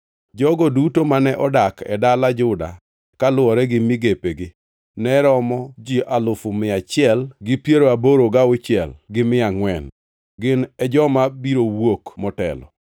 Jogo duto mane odak e dala Juda, kaluwore gi migepegi, ne romo ji alufu mia achiel gi piero aboro gauchiel gi mia angʼwen (186,400). Gin e joma biro wuok motelo.